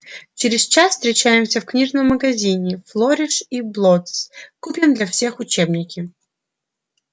через час встречаемся в книжном магазине флориш и блоттс купим для всех учебники